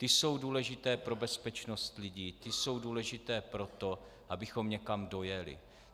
Ty jsou důležité pro bezpečnost lidí, ty jsou důležité pro to, abychom někam dojeli.